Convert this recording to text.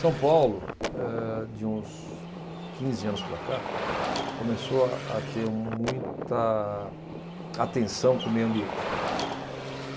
São Paulo, eh, de uns quinze anos para cá, começou a, a ter muita atenção com o meio ambiente.